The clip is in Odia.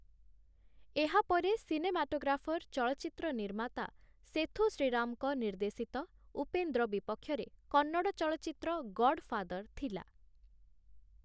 ଏହା ପରେ ସିନେମାଟୋଗ୍ରାଫର ଚଳଚ୍ଚିତ୍ର ନିର୍ମାତା ସେଥୁ ଶ୍ରୀରାମଙ୍କ ନିର୍ଦ୍ଦେଶିତ 'ଉପେନ୍ଦ୍ର' ବିପକ୍ଷରେ କନ୍ନଡ ଚଳଚ୍ଚିତ୍ର 'ଗଡ଼ଫାଦର' ଥିଲା ।